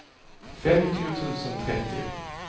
femtio tusen trettio